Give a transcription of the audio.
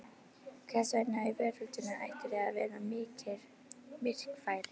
Hvers vegna í veröldinni ættirðu að vera myrkfælinn?